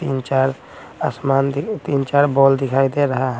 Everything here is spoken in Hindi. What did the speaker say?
तीन चार आसमान तीन चार बॉल दिखाई दे रहा है।